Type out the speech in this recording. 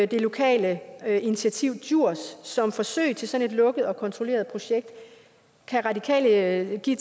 det lokale initiativ djurs som forsøg til sådan et lukket og kontrolleret projekt kan radikale give